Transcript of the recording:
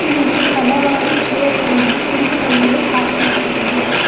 ಇಲ್ಲಿ ಹಲವಾರು ಚೇರ್ ಗಳನ್ನು ಕುಳಿತುಕೊಳ್ಳಲು ಹಾಕಿದ್ದಾರೆ.